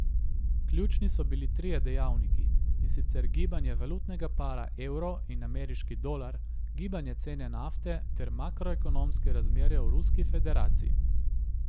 Ključni so bili trije dejavniki, in sicer gibanje valutnega para evo in ameriški dolar, gibanje cene nafte ter makroekonomske razmere v Ruski federaciji.